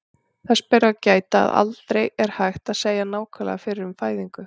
Þess ber þó að gæta, að aldrei er hægt að segja nákvæmlega fyrir um fæðingu.